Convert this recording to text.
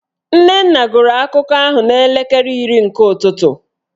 Nnenna gụrụ akụkọ ahụ n'elekere iri nke ụtụtụ